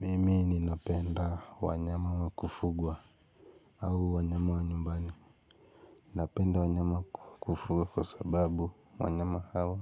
Mimi ninapenda wanyama wa kufugwa au wanyama wa nyumbani. Napenda wanyama kufugwa kwa sababu wanyama hawa